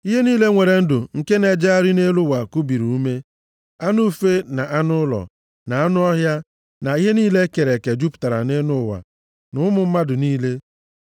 Ihe niile nwere ndụ nke na-ejegharị nʼelu ụwa kubiri ume. Anụ ufe, na anụ ụlọ, na anụ ọhịa, na ihe niile e kere eke jupụtara nʼụwa, na ụmụ mmadụ niile.